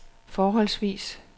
forholdsvis